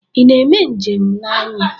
Ị na-eme njem na anyị?